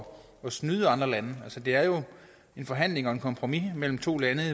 snyde andre lande altså det er jo en forhandling og et kompromis mellem to lande og